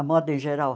A moda em geral?